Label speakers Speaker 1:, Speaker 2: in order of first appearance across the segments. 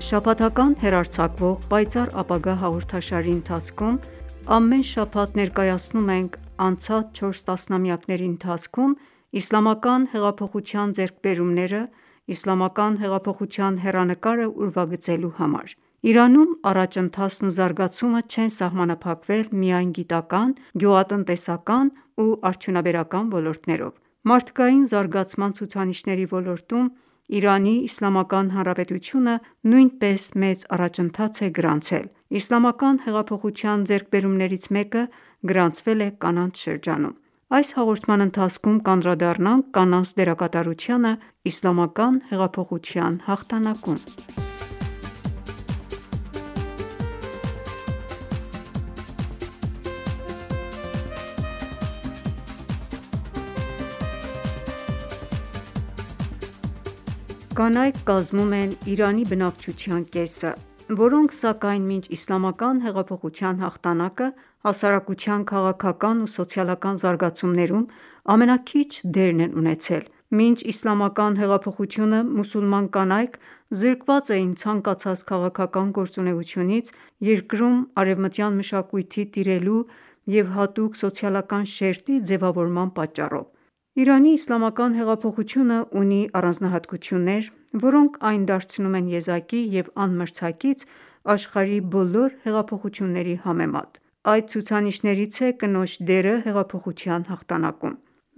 Speaker 1: Շաբաթական հեռարձակվող «Պայծառ ապագա» հաղորդաշարի ընթացքում ամեն շաբաթ ներկայացնում ենք անցած չորս տասնամյակների ընթացքում իսլամական հեղափոխության ձեռքբերումները՝ իսլամական հեղափոխության հեռանկարը ուրվագծելու համար։ Իրանում առաջընթացն ու զարգացումը չեն սահմանափակվել միայն գիտական, ​​գյուղատնտեսական ու արդյունաբերական ոլորտներով: Մարդկային զարգացման ցուցանիշների ոլորտում Իրանի Իսլամական Հանրապետությունը նույնպես մեծ առաջընթաց է գրանցել։ Իսլամական հեղափոխության ձեռքբերումներից մեկը գրանցվել է կանանց շրջանում: Կանայք կազմում են Իրանի բնակչության կեսը, որոնք սակայն մինչ Իսլամական հեղափոխության հաղթանակը հասարակության քաղաքական ու սոցիալական զարգացումներում ամենաքիչ դերն են ունեցել: Մինչ իսլամական հեղափոխությունը մուսուլման կանայք զրկված էին ցանկացած քաղաքական գործունեությունից՝ երկրում արևմտյան մշակույթի տիրելու և հատուկ սոցիալական շերտի ձևավորման պատճառով։ Իրանի իսլամական հեղափոխությունն ունի առանձնահատկություններ, որոնք այն դարձնում են եզակի և անմրցակից աշխարհի բոլոր հեղափոխությունների համեմատ: Այդ ցուցանիշներից է կնոջ դերը հեղափոխության հաղթանակում։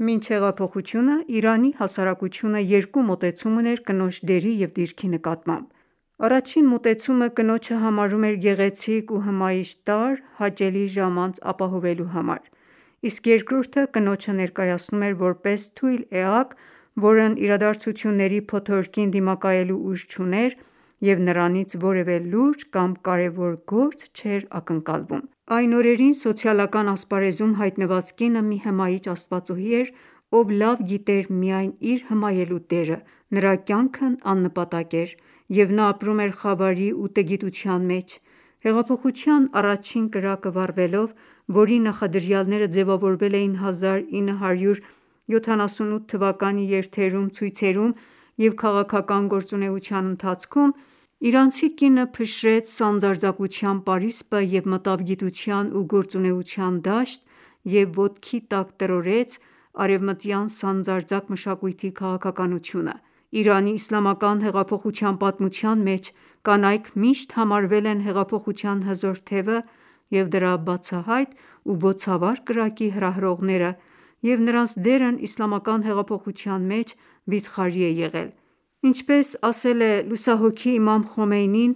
Speaker 1: Մինչ հեղափոխությունն Իրանի հասարակությունը երկու մոտեցում ուներ կնոջ դերի և դիրքի նկատմամբ։ Առաջին մոտեցումը կնոջը համարում էր գեղեցիկ ու հմայիչ տարր՝ հաճելի ժամանց ապահովելու համար։ Իսկ երկրորդը կնոջը ներկայացնում էր որպես թույլ էակ, որն իրադարձությունների փոթորկին դիմակայելու ուժ չուներ և նրանից որևէ լուրջ կամ կարևոր գործ չէր ակնկալվում։ Այն օրերին սոցիալական ասպարեզում հայտնված կինը մի հմայիչ աստվածուհի էր, ով լավ գիտեր միայն իր հմայելու դերը, նրա կյանքն աննպատակ էր, և նա ապրում էր խավարի ու տգիտության մեջ։ Հեղափոխության առաջին կրակը վառվելով, որի նախադրյալները ձևավորվել էին 1978 թվականի երթերում, ցույցերում և քաղաքական գործունեության ընթացքում, իրանցի կինը փշրեց սանձարձակության պարիսպը և մտավ գիտության և գործունեության դաշտ և ոտքի տակ տրորեց արևմտյան սանձարձակ մշակույթի քաղաքականությունը։ Իրանի իսլամական հեղափոխության պատմության մեջ կանայք միշտ համարվել են հեղափոխության հզոր թևը և դրա բոցավառ կրակի հրահրողները, և նրանց դերն Իսլամական հեղափոխության մեջ վիթխարի է եղել: Ինչպես ասել է լուսահոգի իմամ Խոմեյնին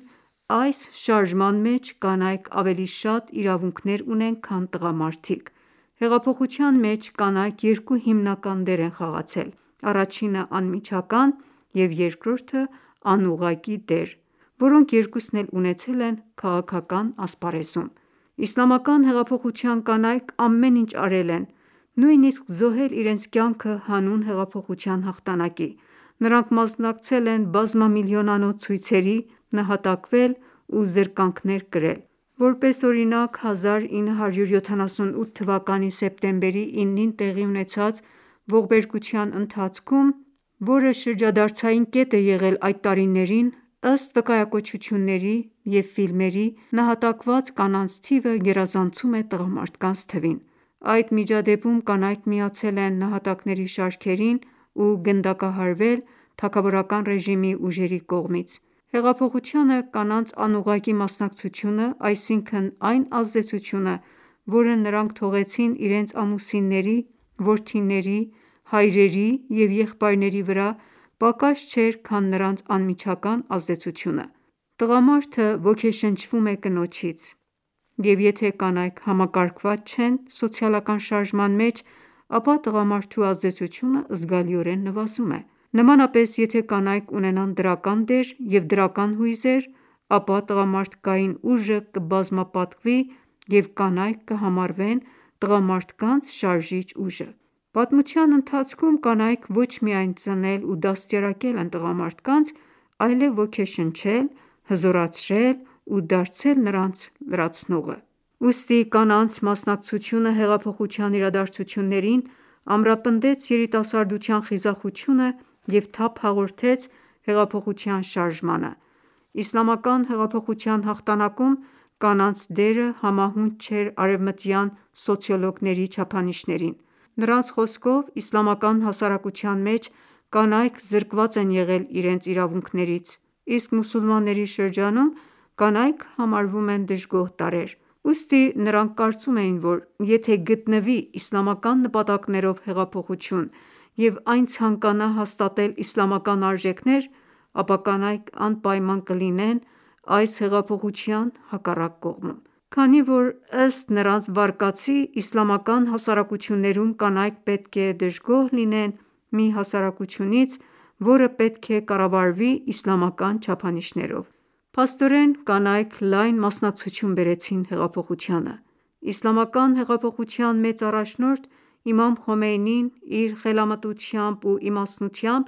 Speaker 1: «Այս շարժման մեջ կանայք ավելի շատ իրավունքներ ունեն, քան տղամարդիկ»: Հեղափոխության մեջ կանայք երկու հիմնական դեր են խաղացել՝ առաջինը՝ անմիջական և երկրորդը՝ անուղղակի դեր քաղաքական ասպարեզում: Կանանց արդյունավետ մասնակցությունը Իսլամական հեղափոխությանը Իսլամական հեղափոխության կանայք ամեն ինչ արել են, նույնսիկ զոհել իրենց կյանքը հանուն հեղափոխության հաղթանակի։ Նրանք մասնակցել են բազմամիլիոնանոց ցույցերի, նահատակվել ու զրկանքներ կրել: Որպես օրինակ՝ 1978թ. սեպտեմբերի 9-ին տեղի ունեցած ողբերգության ընթացքում, որը շրջադարձային կետ է եղել այդ տարիներին, ըստ վկայակոչությունների և ֆիլմերի, նահատակված կանանց թիվը գերազանցում է տղամարդկանց թվին: Այդ միջադեպում կանայք միացել են նահատակների շարքերին ու գնդակահարվել թագավորկան ռեժիմի ուժերի կողմից։ Հեղափոխությանը կանանց անուղղակի մասնակցությունը, այսինքն՝ այն ազդեցությունը, որը նրանք թողեցին իրենց ամուսինների, որդիների, հայրերի և եղբայրների վրա, պակաս չէր, քան նրանց անմիջական ազդեցությունը։ Տղամարդը ոգեշնչվում է կնոջից, և եթե կանայք համակարգված չեն սոցիալական շարժման մեջ, ապա տղամարդու ազդեցությունը զգալիորեն նվազում է: Նմանապես, եթե կանայք ունենան դրական դեր և դրական հույզեր, ապա տղամարդկային ուժը կբազմապատկվի, և կանայք կհամարվեն տղամարդկանց շարժիչ ուժ: Պատմության ընթացքում կանայք ոչ միայն ծնել ու դաստիարակել են տղամարդկանց, այլև ոգեշնչել, հզորացրել ու դարձել նրանց լրացնողը: Ուստի կանանց մասնակցությունը հեղափոխության իրադարձություններին ամրապնդեց երիտասարդության խիզախությունը և թափ հաղորդեց հեղափոխության շարժմանը։ Իսլամական հեղափոխության հաղթանակում կանանց դերը համահունչ չէր արևմտյան սոցիոլոգների չափանիշներին։ Նրանց խոսքով՝ իսլամական հասարակության մեջ կանայք զրկված են եղել իրենց իրավունքներից, իսկ մուսուլմանների շրջանում կանայք համարվում են դժգոհ տարրեր։ Ուստի նրանք կարծում էին, որ եթե գտնվի իսլամական նպատակներով հեղափոխություն, և այն ցանկանա հաստատել իսլամական արժեքներ, ապա կանայք անպայման կլինեն այս հեղափոխության հակառակ կողմում։ Քանի որ, ըստ նրանց վարկածի, իսլամական հասարակություններում կանայք պետք է դժգոհ լինեն մի հասարակությունից, որը պետք է կառավարվի իսլամական չափանիշներով: Փաստորեն կանայք լայն մասնակցություն բերեցին հեղափոխությանը: Իսլամական հեղափոխության մեծ առաջնորդ Իմամ Խոմեյնին իր խելամտությամբ ու իմաստնությամբ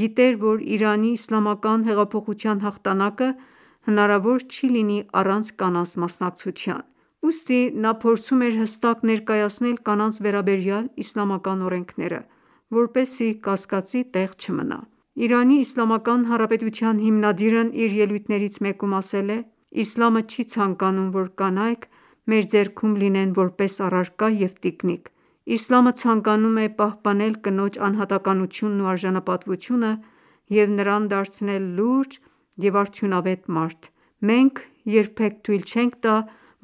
Speaker 1: գիտեր, որ Իրանի իսլամական հեղափոխության հաղթանակը հնարավոր չի լինի առանց կանանց մասնակցության: Ուստի նա փորձում էր հստակ ներկայացնել կանանց վերաբերյալ իսլամական օրենքները, որպեսզի կասկածի տեղ չմնա: Իրանի Իսլամական Հանրապետության հիմնադիրն իր ելույթներից մեկում ասել է.«Իսլամը չի ցանկանում, որ կանայք մեր ձեռքում լինեն որպես առարկա և տիկնիկ։ Իսլամը ցանկանում է պահպանել կնոջ անհատականությունն ու արժանապատվությունը և նրան դարձնել լուրջ և արդյունավետ մարդ: Մենք երբեք թույլ չենք տա,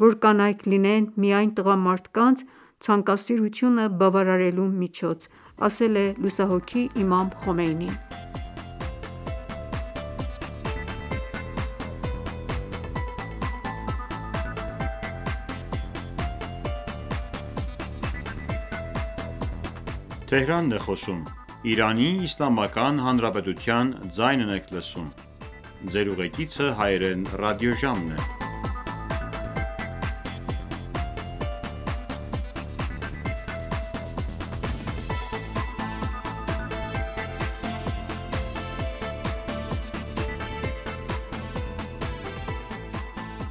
Speaker 1: որ կանայք լինեն միայն տղամարդկանց ցանկասիրությունը բավարարելու միջոց»: Կանանց մասնակցությունը Իսլամական հեղափոխությանը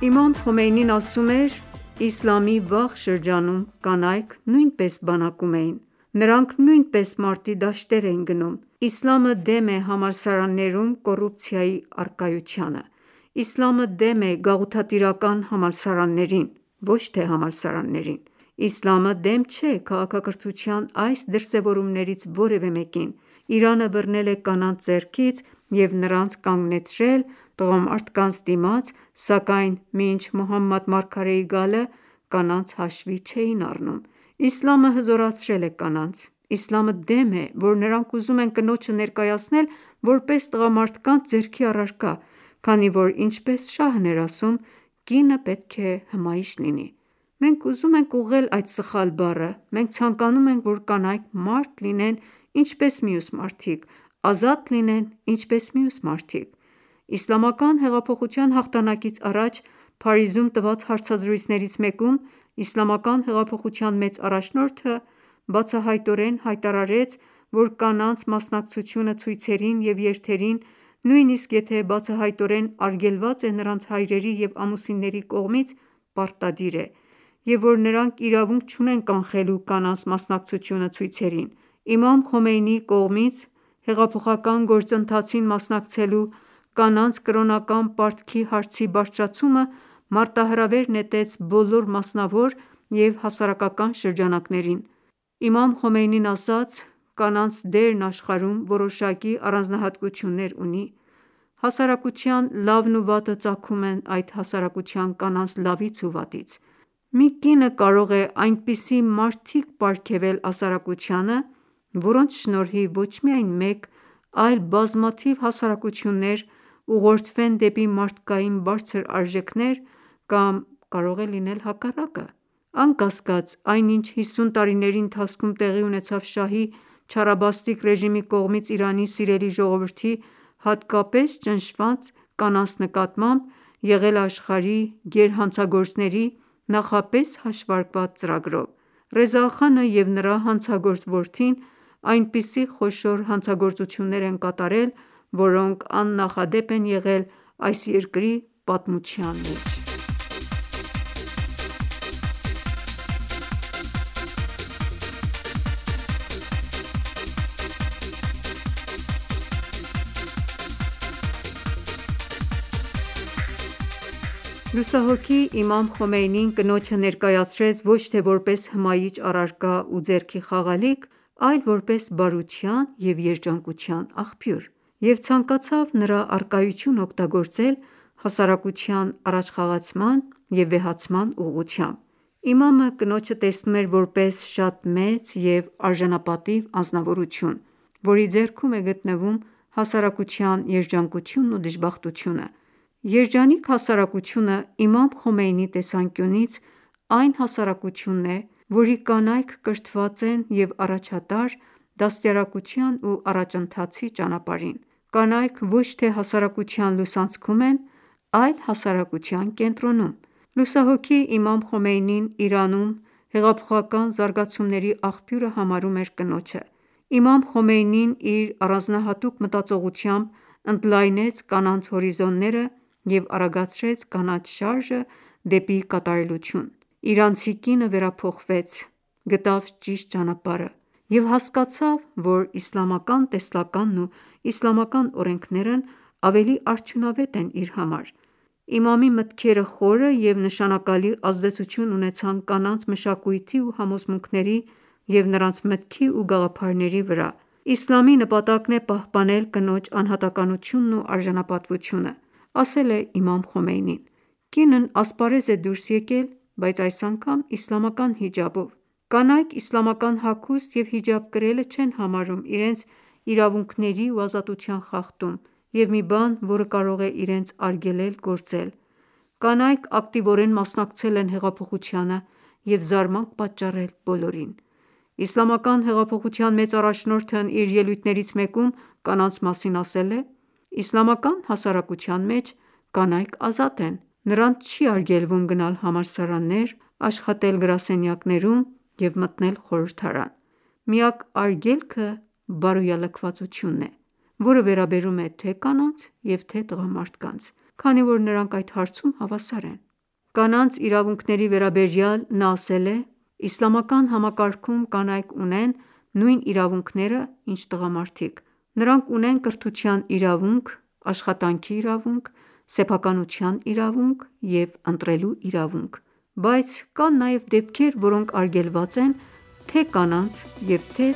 Speaker 1: Իմամ Խոմեյնին ասում էր.«Իսլամի վաղ շրջանում կանայք նույնպես բանակում էին, նրանք նույնպես մարտի դաշտեր էին գնում։ Իսլամը դեմ է համալսարաններում կոռուպցիայի առկայությանը... Իսլամը դեմ է գաղութատիրական համալսարաններին, ոչ թե համալսարաններին: Իսլամը դեմ չէ քաղաքակրթության այս դրսևորումներից որևէ մեկին: Իսլամը բռնել է կանանց ձեռքից և նրանց կանգնեցրել տղամարդկանց դիմաց, սակայն մինչ Մոհամմադ մարգարեի գալը, կանանց հաշվի չէին առնում: Իսլամը հզորացրել է կանանց... Իսլամը դեմ է, որ նրանք ուզում են կնոջը ներկայացնել որպես տղամարդկանց ձեռքի առարկա, քանի որ ինչպես շահն էր ասում «կինը պետք է հմայիչ լինի»: Մենք ուզում ենք ուղղել այդ սխալ բառը: Մենք ցանկանում ենք, որ կանայք մարդ լինեն, ինչպես մյուս մարդիկ, ազատ լինեն ինչպես մյուս մարդիկ»: Իսլամական հեղափոխության հաղթանակից առաջ Փարիզում տված հարցազրույցներից մեկում, իսլամական հեղափոխության մեծ առաջնորդը բացահայտորեն հայտարարեց, որ կանանց մասնակցությունը ցույցերին և երթերին, նույնիսկ եթե բացահայտորեն արգելված է նրանց հայրերի և ամուսինների կողմից, պարտադիր է, և որ նրանք իրավունք չունեն կանխելու կանանց մասնակցությունը ցույցերին: Իմամ Խոմեյնիի կողմից հեղափոխական գործընթացին մասնակցելու կանանց կրոնական պարտքի հարցի բարձրացումը մարտահրավեր նետեց բոլոր մասնավոր և հասարակական շրջանակներին: Իմամ Խոմեյնին ասաց.«Կանանց դերն աշխարհում որոշակի առանձնահատկություններ ունի. Հասարակության լավն ու վատը ծագում են այդ հասարակության կանանց լավից ու վատից։ Մի կինը կարող է այնպիսի մարդիկ պարգևել հասարակությանը, որոնց շնորհիվ ոչ միայն մեկ, այլ բազմաթիվ հասարակություններ ուղղորդվեն դեպի մարդկային բարձր արժեքներ, կամ կարող է լինել հակառակը: Անկասկած, այն ինչ 50 տարիների ընթացքում տեղի ունեցավ շահի չարաբաստիկ ռեժիմի կողմից Իրանի սիրելի ժողովրդի, հատկապես ճնշված կանանց նկատմամբ, եղել է աշխարհի գերհանցագործների նախապես հաշվարկված ծրագրով: Ռեզա Խանը և նրա հանցագործ որդին այնպիսի խոշոր հանցագործություններ են կատարել, որոնք աննախադեպ են եղել այս երկրի պատմության մեջ»: Կանայք Իրանի Իսլամական Հանրապետությունում Լուսահոգի Իմամ Խոմեյնին կնոջը ներկայացրեց ոչ թե որպես հմայիչ առարկա ու ձեռքի խաղալիք, այլ որպես բարության և երջանկության աղբյուր և ցանկացավ նրա առկայությունն օգտագործել հասարակության առաջխաղացման և վեհացման ուղղությամբ: Իմամը կնոջը տեսնում էր որպես շատ մեծ և արժանապատիվ անձնավորություն, որի ձեռքում է գտնվում հասարակության երջանկությունն ու դժբախտությունը: Երջանիկ հասարակությունը, իմամ Խոմեյնիի տեսանկյունից, այն հասարակությունն է, որի կանայք կրթված են և առաջատար՝ դաստիարակության ու առաջընթացի ճանապարհին: Կանայք ոչ թե հասարակության լուսանցքում են, այլ հասարակության կենտրոնում։ Լուսահոգի Իմամ Խոմեյնին Իրանում հեղափոխական զարգացումների աղբյուրը համարում էր կնոջը: Իմամ Խոմեյնին իր առանձնահատուկ մտածողությամբ ընդլայնեց կանանց հորիզոնները և արագացրեց կանանց շարժը դեպի կատարելություն։ Իրանցի կինը վերափոխվեց, գտավ ճիշտ ճանապարհը և հասկացավ, որ իսլամական տեսլականն ու իսլամական օրենքներն ավելի արդյունավետ են իր համար։ Իմամի մտքերը խորը և նշանակալի ազդեցություն ունեցան կանանց մշակույթի ու համոզմունքների, և նրանց մտքի ու գաղափարների վրա։ «Իսլամի նպատակն է պահպանել կնոջ անհատականությունն ու արժանապատվությունը»,- ասել է իմամ Խոմեյնին: Կինն ասպարեզ է դուրս եկել, բայց այս անգամ իսլամական հիջաբով։ Կանայք իսլամական հագուստ և հիջաբ կրելը չեն համարում իրենց իրավունքների ու ազատության խախտում և մի բան, որը կարող է իրենց արգելել գործել: Կանայք ակտիվորեն մասնակցել են հեղափոխությանը և զարմանք պատճառել բոլորին։ Իսլամական հեղափոխության մեծ առաջնորդն իր ելույթներից մեկում կանանց մասին ասել է. «Իսլամական հասարակության մեջ կանայք ազատ են: Նրանց չի արգելվում գնալ համալսարաններ, աշխատել գրասենյակներում և մտնել խորհրդարան: Միակ արգելքը բարոյալքվածությունն է, որը վերաբերում է թե՛ կանանց և թե՛ տղամարդկանց, քանի որ նրանք այդ հարցում հավասար են»: Կանանց իրավունքների վերաբերյալ նա ասել է.«Իսլամական համակարգում կանայք ունեն նույն իրավունքները, ինչ տղամարդիկ: Նրանք ունեն կրթության իրավունք, աշխատանքի իրավունք, սեփականության իրավունք, և ընտրելու իրավունք: Բայց կան նաև դեպքեր, որոնք արգելված են թե կանանց և թե